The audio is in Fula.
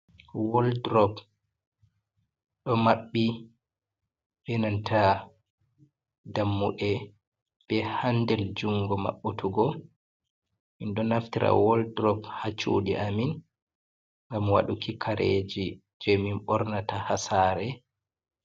Waldrop ɗo maɓɓi ɓenanta dammuɗe ɓe handel jungo mabbutugo, min ɗo naftira woldrop ha cuɗi amin ngam waɗuki kareji je min ɓornata ha sare.